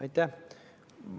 Aitäh!